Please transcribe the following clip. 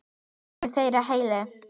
Hvorug þeirra er heil.